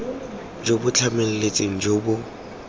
jo bo tlhamaletseng jo bo